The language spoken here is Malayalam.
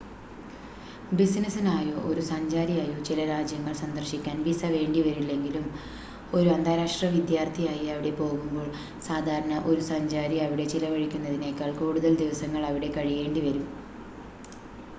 ബിസിനസ്സിനായോ ഒരു സഞ്ചാരിയായോ ചില രാജ്യങ്ങൾ സന്ദർശിക്കാൻ വിസ വേണ്ടിവരില്ലെങ്കിലും ഒരു അന്താരാഷ്ട്ര വിദ്യാർത്ഥിയായി അവിടെ പോവുമ്പോൾ സാധാരണ ഒരു സഞ്ചാരി അവിടെ ചിലവഴിക്കുന്നതിനേക്കാൾ കൂടുതൽ ദിവസങ്ങളവിടെ കഴിയേണ്ടി വരും